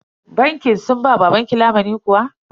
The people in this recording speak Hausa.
Bankin sun ba babanki lamunin kuwa?